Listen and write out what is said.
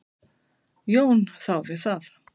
Jón þáði það.